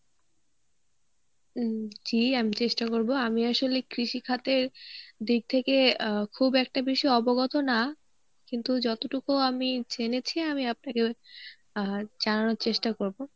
উম জী আমি চেষ্টা করবো. আমি আসলে কৃষিখাতের দিক থেকে আহ খুব একটা বেশি অবগত না কিন্তু যতটুকু আমি জেনেছি আমি আপনাকে ঐ আহ জানানোর চেষ্টা করবো.